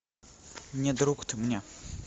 не друг ты мне